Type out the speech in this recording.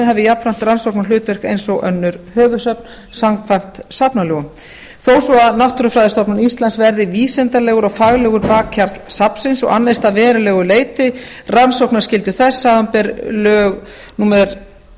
hafi jafnframt rannsóknarhlutverk eins og önnur höfuðsöfn samkvæmt safnalögum þó svo að náttúrufræðistofnun íslands verði vísindalegur og faglegur bakhjarl safnsins og annist að verulegu leyti rannsóknarskyldu þess samanber lög númer